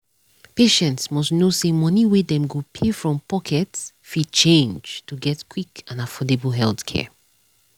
patients must know say money wey dem go pay from pocket fit change to get quick and affordable healthcare.